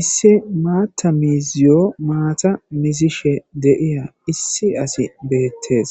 Issi maata miiziyo maata mizishe deiya issi asi beettees